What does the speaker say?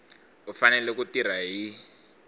u fanele ku tirha hi